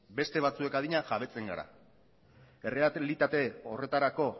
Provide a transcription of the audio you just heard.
beste batzuek adina jabetzen gara errealitate horretarako